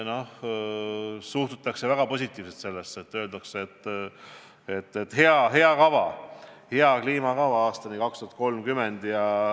Sellesse suhtutakse väga positiivselt – öeldakse, et hea kliimakava aastani 2030.